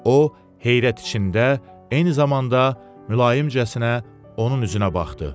O, heyrət içində, eyni zamanda mülayimcəsinə onun üzünə baxdı.